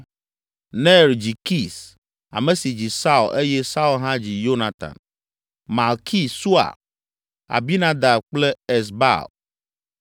Ner dzi Kis, ame si dzi Saul eye Saul hã dzi Yonatan, Malki Sua, Abinadab kple Esbaal.